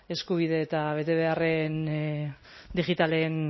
eskubide eta betebeharren digitalen